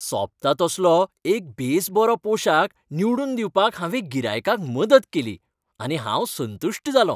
सोबता तसलो एक बेस बरो पोशाख निवडून दिवपाक हांवें गिरायकाक मदत केली, आनी हांव संतुश्ट जालो.